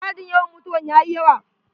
Adadin yawan mutawan yayi yawa.